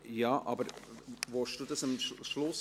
– Ja, aber möchten Sie das am Schluss?